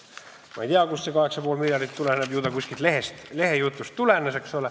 Ma ei tea, kust see 8,5 miljardit tuleneb – ju see kuskilt lehejutust tuleneb.